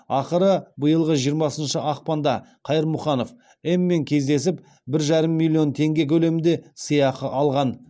ақыры биылғы жиырмасыншы ақпанда қайырмұханов м мен кездесіп бір жарым миллион теңге көлемінде сыйақы алған